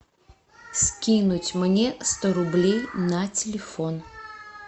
скинуть мне сто рублей на телефон